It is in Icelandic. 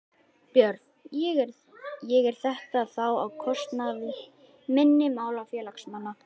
Björn: Og er þetta þá á kostnað minni mála félagsmanna?